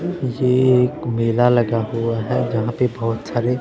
ये एक मेला लगा हुआ है जहां पे बहुत सारे--